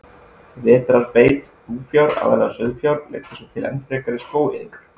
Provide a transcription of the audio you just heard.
Vetrarbeit búfjár, aðallega sauðfjár, leiddi svo til enn frekari skógaeyðingar.